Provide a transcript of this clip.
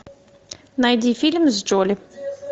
найди фильм с джоли